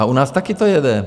A u nás taky to jede.